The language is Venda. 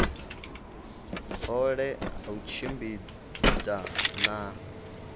hohe ha u tshimbidza na